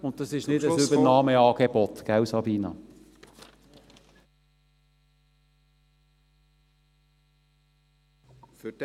Und dies ist nicht ein Übernahmeangebot, Frau Geissbühler.